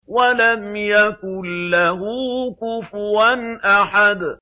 وَلَمْ يَكُن لَّهُ كُفُوًا أَحَدٌ